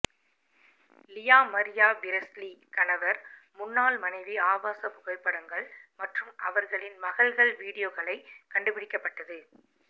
Lisa Maria Presley கணவர் முன்னாள் மனைவி ஆபாச புகைப்படங்கள் மற்றும் அவர்களின் மகள்கள் வீடியோக்களை கண்டுபிடிக்கப்பட்டது